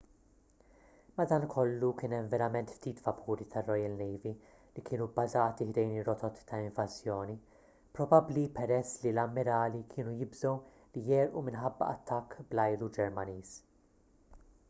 madankollu kien hemm verament ftit vapuri tar-royal navy li kienu bbażati ħdejn ir-rotot ta' invażjoni probabbli peress li l-ammirali kienu jibżgħu li jegħrqu minħabba attakk bl-ajru ġermaniż